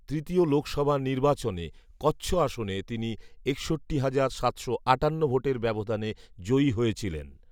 তৃতীয় লোকসভা নির্বাচনে কচ্ছ আসনে তিনি একষট্টি হাজার সাতশো আটান্ন ভোটের ব্যবধানে জয়ী হয়েছিলেন